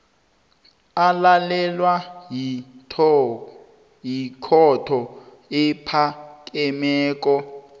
alalelwa yikhotho ephakemeko